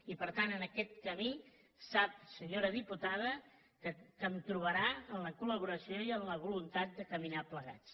i per tant en aquest camí sap senyora diputada que em trobarà amb la col·laboració i amb la voluntat de caminar plegats